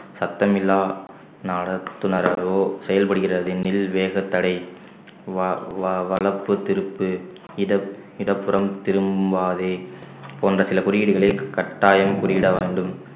சத்தமில்லா நடத்துனராகவோ செயல்படுகிறது எனில் வேகத்தடை வா~ வா~ வளர்ப்பு திருப்பு இடப்~ இடப்புறம் திரும்பாதே போன்ற சில குறியீடுகளை கட்டாயம் குறியீட வேண்டும்